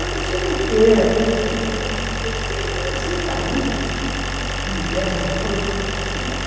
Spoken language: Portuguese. Eu não sei o que é. Eu nem aceitaria que me desse uma coisa.